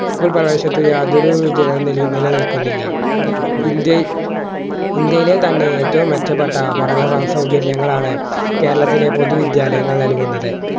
school പ്രേവേശനത്തതിന് യാതൊരു നിലനിൽക്കുന്നില്ല ഇന്ത്യ ഇന്ത്യയിലെ തന്നെ ഏറ്റവും മെച്ചപ്പെട്ട പഠന സൗകര്യങ്ങളാണ് കേരളത്തിലെ പൊതുവിദ്യാലയങ്ങൾ നൽകുന്നത്